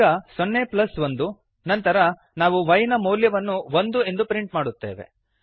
ಈಗ ಸೊನ್ನೆ ಪ್ಲಸ್ ಒಂದು ನಂತರ ನಾವು y ನ ಮೌಲ್ಯವನ್ನು ಒಂದು ಎಂದು ಪ್ರಿಂಟ್ ಮಾಡುತ್ತೇವೆ